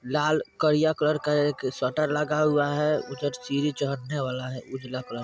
लाल करिया कलर का एक शटर लगा हुआ है वो सीडी चड़ने वाल है उजला कलर --